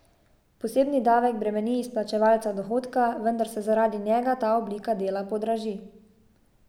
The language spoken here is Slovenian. Posebni davek bremeni izplačevalca dohodka, vendar se zaradi njega ta oblika dela podraži.